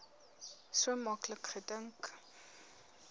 so maklik gedink